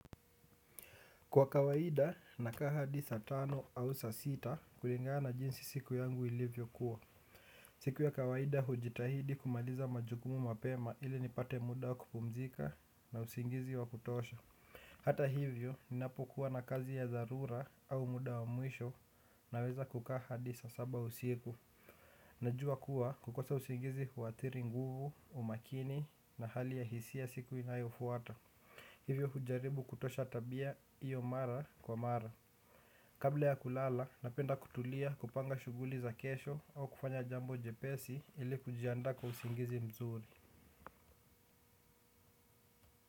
Kwa kawaida nakaa hadi saa tano au saa sita kulingana jinsi siku yangu ilivyokuwa. Siku ya kawaida hujitahidi kumaliza majukumu mapema ili nipate muda wa kupumzika na usingizi wa kutosha. Hata hivyo, ninapokuwa na kazi ya dharura au muda wa mwisho naweza kukaa hadi saa saba usiku. Najua kuwa kukosa usingizi huathiri nguvu, umakini na hali ya hisia siku inayofuata. Hivyo hujaribu kutosha tabia iyo mara kwa mara. Kabla ya kulala, napenda kutulia kupanga shughuli za kesho au kufanya jambo jepesi ili kujiandaa kwa usingizi mzuri.